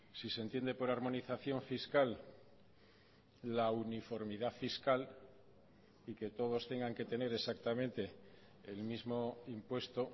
si se entiende por armonización fiscal la uniformidad fiscal y que todos tengan que tener exactamente el mismo impuesto